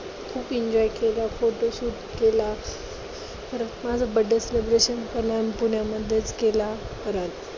खूप enjoy केला. photo shoot केला. परत माझा Birhday Celebration पण आम्ही पुण्यामध्येच केला .